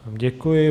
Děkuji.